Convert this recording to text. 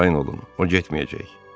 Arxayın olun, o getməyəcək.